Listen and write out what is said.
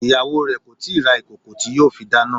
Ìyàwó re kò tíì ra ìkòkò tí yóò fi dáná.